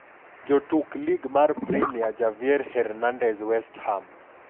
Jotuk Lig mar Premia: Javier Hernandez (West Ham).